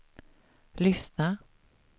lyssna